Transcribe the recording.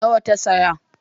Nawa ta saya